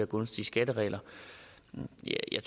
gunstige skatteregler jeg